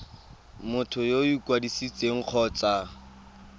motho yo o ikwadisitseng kgotsa